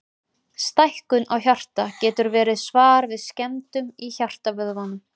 Stækkun á hjarta getur verið svar við skemmdum í hjartavöðvanum.